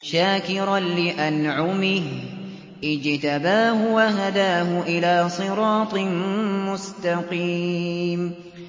شَاكِرًا لِّأَنْعُمِهِ ۚ اجْتَبَاهُ وَهَدَاهُ إِلَىٰ صِرَاطٍ مُّسْتَقِيمٍ